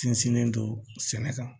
Sinsinnen don sɛnɛ kan